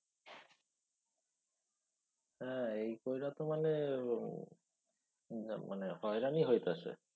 হ্যা এই কইরা তো মানে মানে হয়রানি হইতেসে।